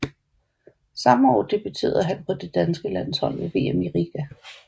Samme år debuterede han på det danske landshold ved VM i Riga